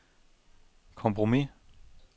kompromis